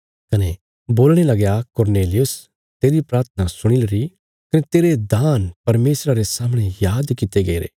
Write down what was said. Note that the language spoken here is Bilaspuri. कने बोलणे लगया कुरनेलियुस तेरी प्राथना सुणीलरी कने तेरे दान परमेशरा रे सामणे याद कित्ते गईरे